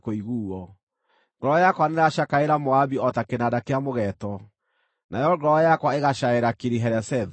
Ngoro yakwa nĩĩracakaĩra Moabi o ta kĩnanda kĩa mũgeeto, nayo ngoro yakwa ĩgacaĩra Kiri-Heresethu.